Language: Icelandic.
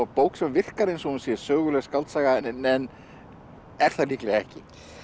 bók sem virkar eins og hún sé söguleg skáldsaga en er það líklega ekki